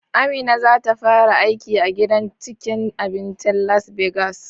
Amina zata fara aiki a gidan cikin abincin Las Begas